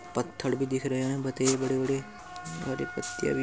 पत्थर भी दिख रहे है। बतेरे बड़े- बड़े। हरी पत्तियां भी --